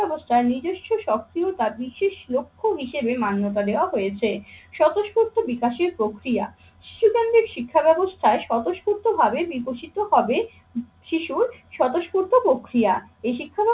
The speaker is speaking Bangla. তার নিজস্ব সক্রিয়তা বিশেষ লক্ষ্য হিসেবে মান্যতা দেওয়া হয়েছে। স্বতঃস্ফূর্ত বিকাশের প্রক্রিয়া, শিশুজনদের শিক্ষা ব্যাবস্থায় স্বতঃস্ফূর্তভাবে বিকশিত হবে শিশুর স্বতঃস্ফূর্ত প্রক্রিয়া। এই শিক্ষা